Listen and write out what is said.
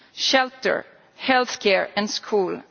shelter, healthcare and schooling.